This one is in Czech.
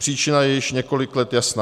Příčina je již několik let jasná.